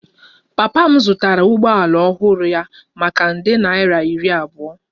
Papa m zụtara ụgbọala ọhụrụ ya maka nde naira iri abụọ